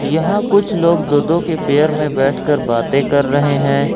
यहां कुछ लोग दो दो के पेयर में बैठकर बातें कर रहे हैं।